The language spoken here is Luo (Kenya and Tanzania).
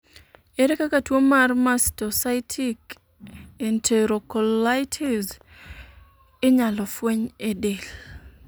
ere kaka tuo mar mastocytic enterocolitis inyalo fweny e del?